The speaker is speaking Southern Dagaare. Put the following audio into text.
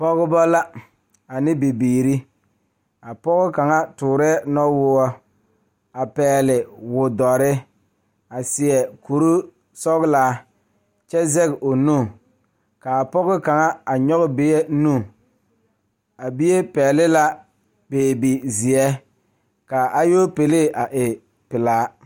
Pɔgeba la ane bibiiri kaa pɔge nyoŋ dɔɔ nu ka katawiɛ Kyaara ka dɔɔ a su dagakparo ka pɔge a gyere wagye a le kodo kaa dɔɔba a gyere wagyere ka alopelee e pelaa.